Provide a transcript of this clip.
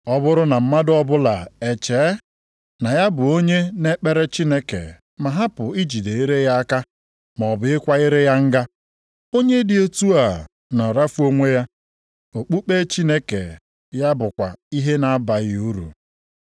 Ọ bụrụ na mmadụ ọbụla echee na ya bụ onye na-ekpere Chineke ma hapụ ijide ire ya aka maọbụ ịkwa ire ya nga, onye dị otu a na-arafu onwe ya, okpukpe Chineke ya bụkwa ihe na-abaghị uru.